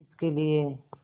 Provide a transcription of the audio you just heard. किसके लिए